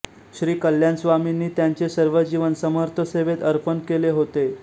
श्री कल्याणस्वामींनी त्यांचे सर्व जीवन समर्थसेवेत अर्पण केले होते